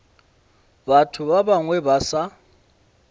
batho ba bangwe ba sa